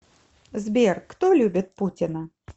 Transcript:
сбер кто любит путина